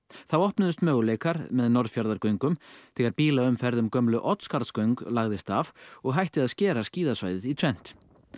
þá opnuðust möguleikar með Norðfjarðargöngum þegar bílaumferð um gömlu Oddsskarðsgöng lagðist af og hætti að skera skíðasvæðið í tvennt